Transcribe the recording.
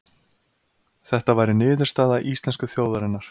Þetta væri niðurstaða íslensku þjóðarinnar